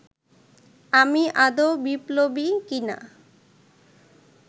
আমি আদৌ বিপ্লবী কিনা